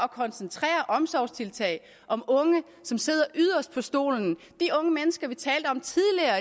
koncentrere omsorgstiltag om unge som sidder yderst på stolen de unge mennesker vi talte om tidligere